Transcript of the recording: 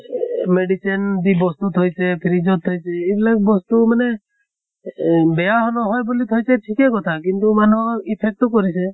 এহ এহ medicine দি বস্তু থৈছে fridge ত থৈছে এইবিলাক বস্তু মানে এহ বেয়া হলেও হয় বুলি থৈছে ঠিকে কথা । কিন্তু মানুহক effect ও কৰিছে।